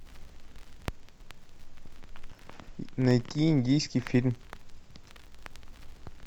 найти индийский фильм